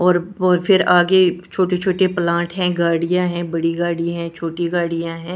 और फिर आगे छोटे छोटे प्लांट है गाड़ियां है बड़ी गाडि छोटी गाड़ियां है।